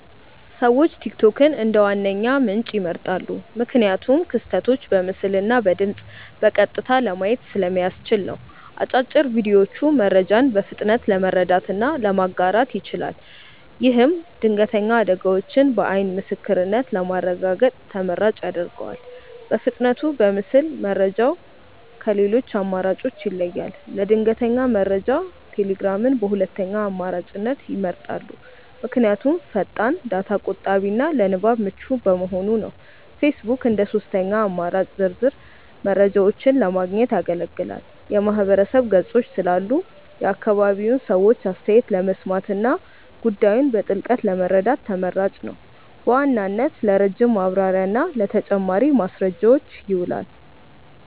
ሰዎች ቲክቶክን እንደ ዋነኛ ምንጭ ይመርጣሉ። ምክንያቱም ክስተቶችን በምስልና በድምፅ በቀጥታ ለማየት ስለሚያስችል ነው። አጫጭር ቪዲዮዎቹ መረጃን በፍጥነት ለመረዳትና ለማጋራት ይችላል። ይህም ድንገተኛ አደጋዎችን በዓይን ምስክርነት ለማረጋገጥ ተመራጭ ያደርገዋል። በፍጥነቱና በምስል መረጃው ከሌሎች አማራጮች ይለያል። ለድንገተኛ መረጃ ቴሌግራምን በሁለተኛ አማራጭነት ይመርጣሉ። ምክንያቱም ፈጣን፣ ዳታ ቆጣቢና ለንባብ ምቹ በመሆኑ ነው። ፌስቡክ እንደ ሦስተኛ አማራጭ ዝርዝር መረጃዎችን ለማግኘት ያገለግላል። የማህበረሰብ ገጾች ስላሉ የአካባቢውን ሰዎች አስተያየት ለመስማትና ጉዳዩን በጥልቀት ለመረዳት ተመራጭ ነው። በዋናነት ለረጅም ማብራሪያና ለተጨማሪ ማስረጃዎች ይውላል።